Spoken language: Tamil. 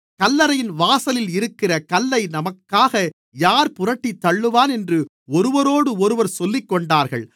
கல்லறையின் வாசலில் இருக்கிற கல்லை நமக்காக யார் புரட்டித்தள்ளுவான் என்று ஒருவரோடொருவர் சொல்லிக்கொண்டார்கள்